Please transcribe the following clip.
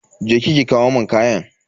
Je ki ki kawo mun kayan.